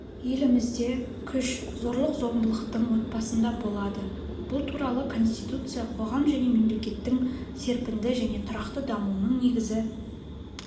елімізде күш зорлық-зомбылықтың отбасында болады бұл туралы конституция қоғам және мемлекеттің серпінді және тұрақты дамуының негізі